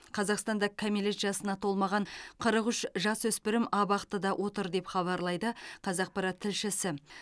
қазақстанда кәмелет жасына толмаған қырық үш жасөспірім абақтыда отыр деп хабарлайды қазақпарат тілшісі